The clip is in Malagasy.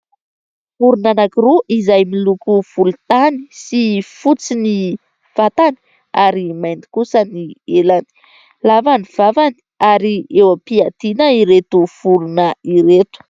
Vorona anakiroa izay miloko volotany sy fotsy ny vatany ary mainty kosa ny elany, lava ny vavany ary eo ampiadiana ireto vorona ireto.